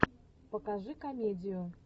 покажи комедию